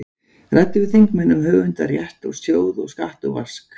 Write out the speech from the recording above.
Ræddu við þingmenn um höfundarrétt og sjóð og skatt og vask.